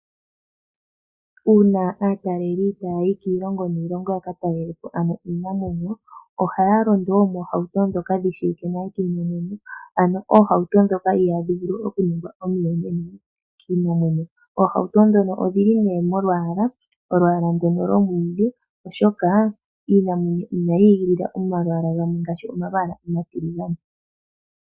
Uuna aataleli taya yi kiilongo niilongo yakatalele po ano iinamwenyo, ohaya londo moohauto ndhoka dhishiwike nale kiinamwenyo ano oohauto ndhoka ihadhi vulu okuningwa omuyonena kiinamwenyo. Ohauto ndhono odhili ne molwaala, olwaala ndono lomwiidhi oshoka iinamwenyo inayi igilila omalwaala gamwe ngaashi omalwaala omatiligane.